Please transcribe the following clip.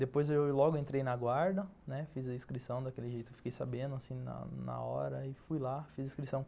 Depois eu logo entrei na guarda, né, fiz a inscrição daquele jeito, fiquei sabendo na hora e fui lá, fiz a inscrição.